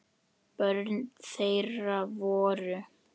Börn þeirra voru